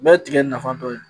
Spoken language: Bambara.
Ni bɛɛ ye tigɛ nafa dɔ ye.